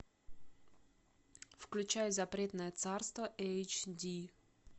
включай запретное царство эйч ди